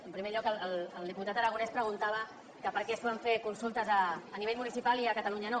en primer lloc el diputat aragonès preguntava que per què es poden fer consultes a nivell municipal i a catalunya no